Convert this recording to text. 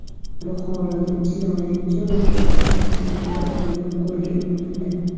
Buxoroda jinoyat joyiga qaytgan o‘g‘rilar qo‘lga olindi.